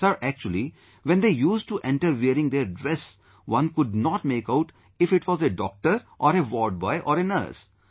Sir, actually, when they used to enter wearing their dress, one could not make out if it was a doctor or a ward boy or nurse